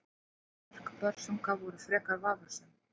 Bæði mörk Börsunga voru frekar vafasöm.